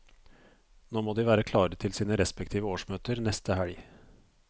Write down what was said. Nå må de være klare til sine respektive årsmøter neste helg.